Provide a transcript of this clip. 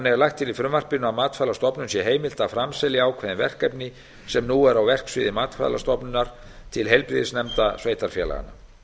lagt til í frumvarpinu að matvælastofnun sé heimilt að framselja ákveðin verkefni sem nú eru á verksviði matvælastofnunar til heilbrigðisnefnda sveitarfélaganna